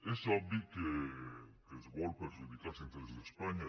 és obvi que es vol perjudicar els interessos d’espanya